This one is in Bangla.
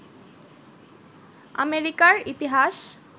আমেরিকার ইতিহাস